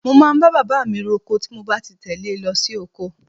Mo máa ń bá bàbá mi roko tí mo bá ti tẹle lọ sí oko rẹ̀.